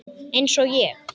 Eins og ég.